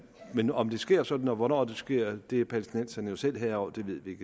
men om det sker sådan og hvornår det sker er palæstinenserne jo selv herrer over det ved vi